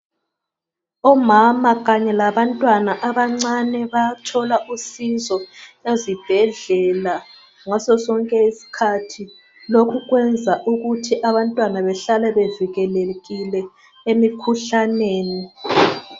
Omama kanye labantwana abancane bayathola usizo ezibhedlela ngaso sonke isikhathi. Lokhu kwenza ukuthi abantwana behlale bevikelekile emikhuhlaneni.